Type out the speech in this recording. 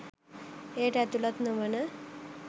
එයට ඇතුළත් නොවන